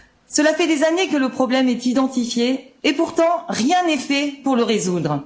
Cela fait des années que le problème est identifié et pourtant rien n'est fait pour le résoudre.